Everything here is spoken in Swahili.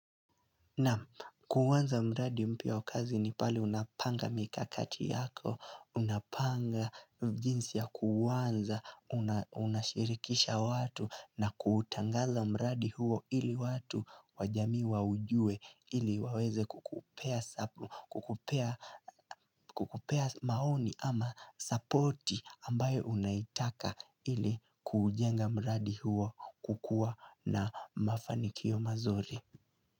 Naam kuanza mradi mpya wa kazi ni pale unapanga mikakati yako, unapanga jinsi ya kuuanza, unashirikisha watu na kutangaza mradi huo ili watu wajamii waujue ili waweze kukupea maoni ama supporti ambayo unaitaka ili kujenga mradi huo kukua na mafanikio mazuri.